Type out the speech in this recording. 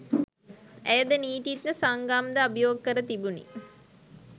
ඇයද නීතීඥ සංගම්ද අභියෝග කර තිබුණි